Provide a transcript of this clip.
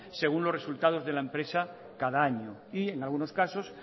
según los resultados de la empresa cada año y en algunos casos